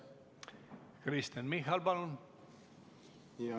Kristen Michal, palun!